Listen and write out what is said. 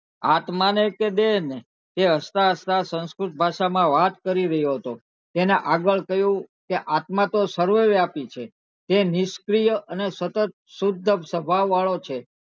આત્મા ને કે દેહ ને તે હસતા હસતા સંસ્કૃત ભાષા માં વાત કરી રહ્યો હતો તને આગળ કહ્યો કે આત્મા તો સર્વ વ્યાપી છે તે નિષ્ક્રિય અને સતત શુદ્ધ સ્વભાવ વાળો છે